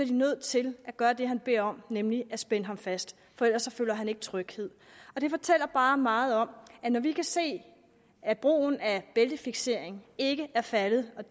de nødt til at gøre det han beder om nemlig at spænde ham fast for ellers føler han ikke tryghed det fortæller bare meget om at når vi kan se at brugen af bæltefiksering ikke er faldet